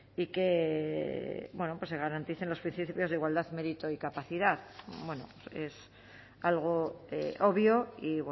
y que se garanticen los principios de igualdad mérito y capacidad es algo obvio y